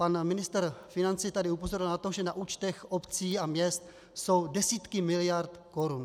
Pan ministr financí tady upozorňoval na to, že na účtech obcí a měst jsou desítky miliard korun.